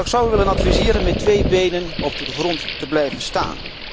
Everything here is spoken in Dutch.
Maar ik zou u willen adviseren met twee benen op de grond te blijven staan.